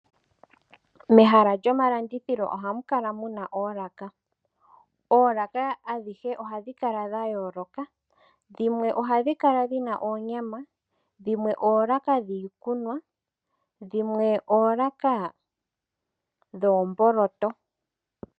Mehala lyomalandithilo ohaku kala muna oolaka. Oolaka adhihe ohadhi kala dha yooloka. Dhimwe ohadhi kala dhi na oonyama, dhimwe oolaka dhiikunwa, dhimwe oolaka dhoomboloto.